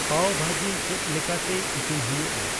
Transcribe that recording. ᱯᱟᱣ ᱵᱷᱟᱡᱤ ᱪᱮᱫ ᱞᱮᱠᱟᱛᱮ ᱤᱥᱤᱱ ᱦᱩᱭᱩᱜᱼᱟ